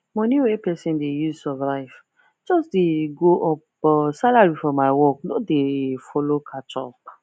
money wey pesin dey use survive just dey go up but salary for my work no dey follow catch up